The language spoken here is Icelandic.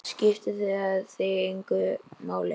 Skiptir það þig engu máli?